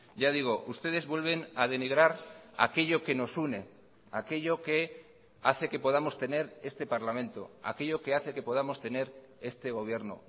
ya digo ustedes vuelven a denigrar aquello que nos une aquello que hace que podamos tener este parlamento aquello que hace que podamos tener este gobierno